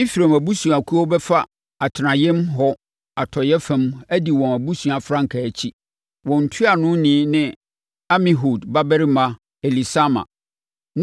Efraim abusuakuo bɛfa atenaeɛm hɔ atɔeɛ fam adi wɔn abusua frankaa akyi. Wɔn ntuanoni ne Amihud babarima Elisama.